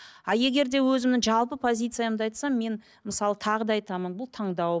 а егер де өзімнің жалпы позициямды айтсам мен мысалы тағы да айтамын бұл таңдау